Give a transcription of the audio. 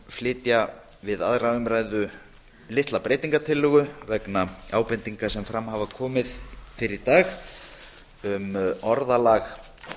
flytja við aðra umræðu litla breytingartillögu vegna ábendinga sem fram hafa komið fyrr í dag um orðalag